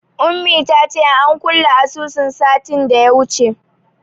Ummi ta ce an kulle asusunta satin da ya wuce.